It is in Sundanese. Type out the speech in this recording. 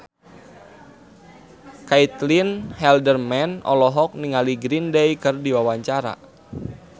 Caitlin Halderman olohok ningali Green Day keur diwawancara